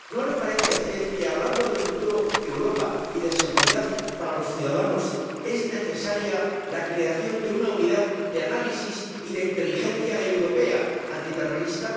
¿No le parece a usted que, hablando del futuro de Europa y de seguridad para los ciudadanos, es necesaria la creación de una unidad europea de análisis y de inteligencia antiterrorista?